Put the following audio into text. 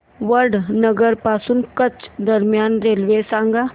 वडनगर पासून कच्छ दरम्यान रेल्वे सांगा